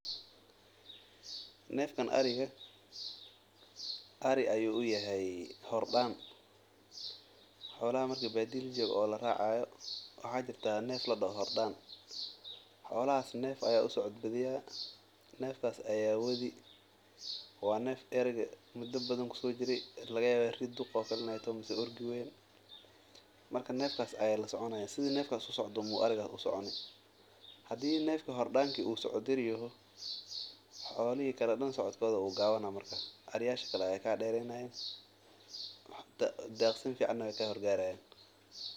Neefkan ariga Ari ayuu uyahay hor Daan, xoolaha neef ayaa uhor socdaa wuu wadi marka neefkaas ayuu soconi, haduu socod gaaban yaho kuwa kalena xasil ayeey soconayan xolaha kale ayaa kahor tagaan.